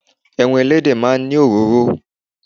Ẹran Ẹlẹ́dẹ̀ máa ń ní òróró.